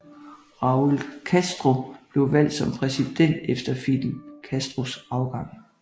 Raúl Castro blev valgt som præsident efter Fidel Castros afgang